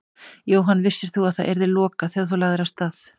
Jóhann: Vissir þú að það yrði lokað þegar þú lagðir af stað?